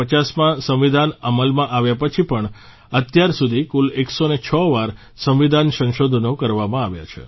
1950માં સંવિધાન અમલમાં આવ્યા પછી પણ અત્યારસુધી કુલ 106 વાર સંવિધાન સંશોધનો કરવામાં આવ્યા છે